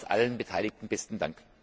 Nochmals allen Beteiligten besten Dank.